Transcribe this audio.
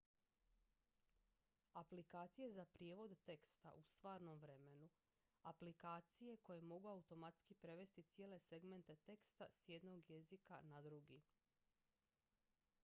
aplikacije za prijevod teksta u stvarnom vremenu aplikacije koje mogu automatski prevesti cijele segmente teksta s jednog jezika na drugi